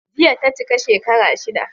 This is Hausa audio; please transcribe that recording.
Jiya ta cika shekara shida.